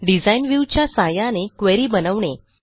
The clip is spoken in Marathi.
डिझाइन व्ह्यू च्या सहाय्याने क्वेरी बनवणे